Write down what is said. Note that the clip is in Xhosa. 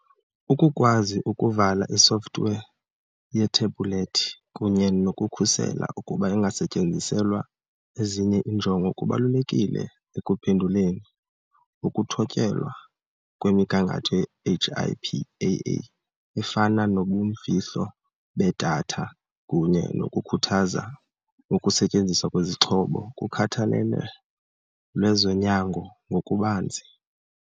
Ukukwazi ukuvala isofthiwe yethebhulethi kunye nokukhusela ukuba ingasetyenziselwa ezinye iinjongo kubalulekile ekuphenduleni, ukuthotyelwa kwemigangatho ye-HIPAA efana nobumfihlo bedatha, kunye nokukhuthaza ukusetyenziswa kwesixhobo kukhathalelo lwezonyango ngokubanzi.